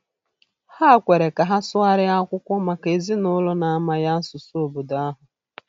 Ha kwere ka ha sụgharịa akwụkwọ maka ezinụlọ na-amaghị asụsụ obodo ahụ.